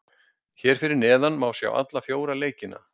Hér að neðan má sjá alla fjóra leikina.